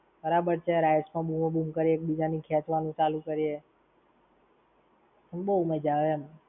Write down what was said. બરાબર છે, rides માં બૂમ બમ કરીયે, એક બીજા ની ખેંચવાની ચાલુ કરીયે, તો બવ મજા આવે એમ.